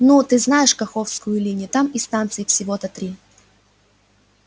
ну ты знаешь каховскую линию там и станций-то всего три